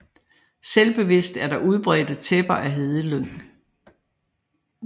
Stedvist er der udbredte tæpper af hedelyng